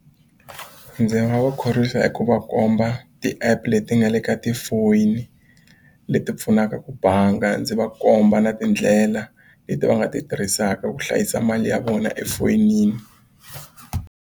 Ndzi nga va khorwisa hi ku va komba ti-app leti nga le ka tifoni leti pfunaka ku bangi ndzi va komba na tindlela leti va nga ti tirhisaka ku hlayisa mali ya vona efoyinini.